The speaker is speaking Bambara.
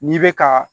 N'i bɛ ka